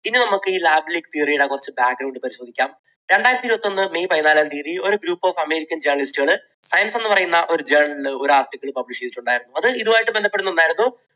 ഇനി നമുക്ക് ഈ theory യുടെ കുറച്ച് പരിശോധിക്കാം. രണ്ടായിരത്തി ഇരുപത്തൊന്ന് may പതിനാലാം തീയതി ഒരു group of അമേരിക്കൻ journalist കൾ science എന്ന് പറയുന്ന ഒരു journal ഒരു article publish ചെയ്തിട്ടുണ്ടായിരുന്നു. അത് ഇതുമായി ബന്ധപ്പെടുന്ന ഒന്നായിരുന്നു.